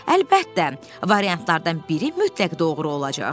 Əlbəttə, variantlardan biri mütləq doğru olacaq.